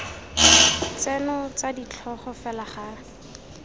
tseno tsa ditlhogo fela ga